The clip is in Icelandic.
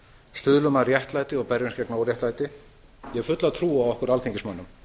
stuðlum að réttlæti og berjumst gegn óréttlæti ég hef fulla trú á okkur alþingismönnum